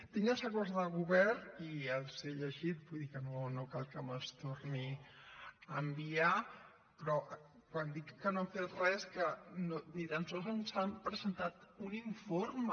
tinc els acords de govern i els he llegit vull dir que no cal que me’ls torni a enviar però quan dic que no han fet res vull dir que ni tan sols ens han presentat un informe